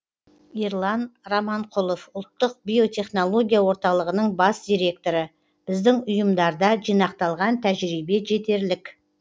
ерлан раманқұлов ұлттық биотехнология орталығының бас директоры біздің ұйымдарда жинақталған тәжірибе жетерлік